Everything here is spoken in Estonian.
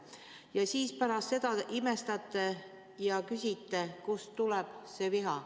Ja siis pärast imestate ja küsite, kust tuleb see viha.